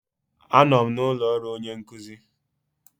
Anọ m n'ụlọ ọrụ onye nkuzi.